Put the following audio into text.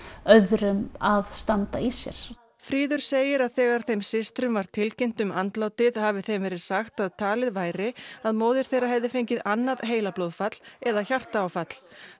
öðrum að standa í sér fríður segir að þegar þeim systrum var tilkynnt um andlátið hafi þeim verið sagt að talið væri að móðir þeirra hefði fengið annað heilablóðfall eða hjartaáfall